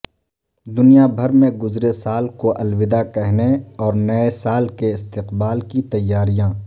دنیا بھرمیں گزرے سال کو الوداع کہنے اور نئے سال کے استقبال کی تیاریاں